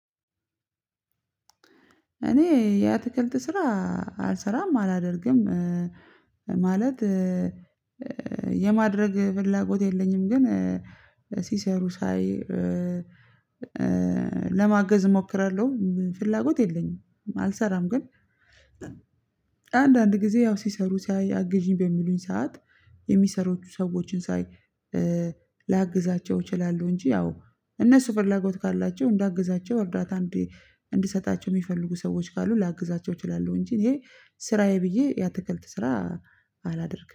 እኔ የአትክልት ስራ አልሰራም አላደርግም ማለት የማድረግ ፍላጎት የለኝም። ግን ሲሰሩ ሳይ ለማገዝ እሞክራልሁ ፍላጎት የለኝም። አልሰራም ግን አንዳንድ ጊዜ ያው ሲሰሩ ሳይ አግዥኝ በሚሉኝ ሰዓት የሚሰሩ ሰዎችን ሳይ ላግዛቸው እችላለሁ። እንጂ ያው እነሱ ፍላጎት ካላቸው እንዳግዛቸው እርዳታ እንድሰጣቸው የሚፈልጉ ሰዎች ካሉ ላግዛቸው እችላለው። እንጂ እኔ ስራዬ ብዬ የአትክልት ስራ አላደርግም